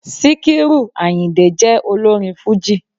Síkírù Àyìndé jẹ́ olórin fújì